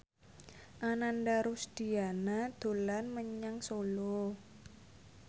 Ananda Rusdiana dolan menyang Solo